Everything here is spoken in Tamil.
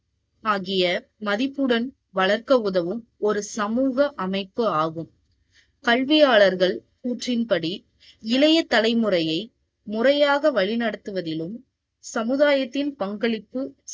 ஆகிய மதிப்புடன் வளர்க்க உதவும் ஒரு சமூக அமைப்பு ஆகும். கல்வியாளர்கள் கூற்றின் படி, இளைய தலைமுறையை முறையாக வழிநடத்துவதிலும், சமுதாயத்தின் பங்களிப்பு